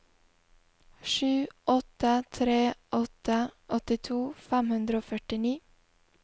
sju åtte tre åtte åttito fem hundre og førtini